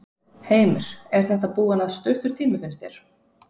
Heimir: Er þetta búinn að stuttur tími, finnst þér?